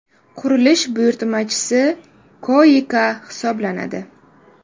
Qurilish buyurtmachisi KOICA hisoblanadi.